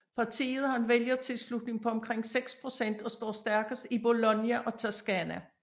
Partiet har en vælgertilslutning på omkring 6 procent og står stærkest i Bologna og Toscana